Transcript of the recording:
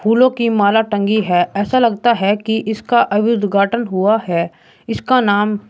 फूलों की माला टंगी है ऐसा लगता हैं कि इसका अभी उद्घाटन हुआ हैं इसका नाम।